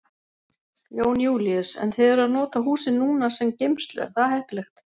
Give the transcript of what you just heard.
Jón Júlíus: En þið eruð að nota húsin núna sem geymslu, er það heppilegt?